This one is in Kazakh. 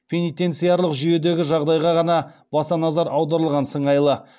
пенитенциарлық жүйедегі жағдайға ғана баса назар аударылған сыңайлы